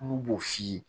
Olu b'o f'i ye